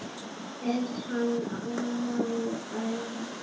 Er hann á eða?